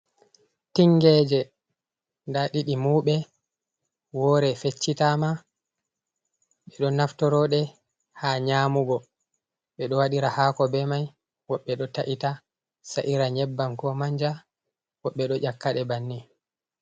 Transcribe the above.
"Tingeje" da ɗidi mauɓe wore feccitama ɓe ɗo naftorode ha nyamugo ɓe ɗo wadira hako be mai woɓɓe do ta’ita sa'ira nyebbam ko manja woɓɓe ɗo ƴakade banni.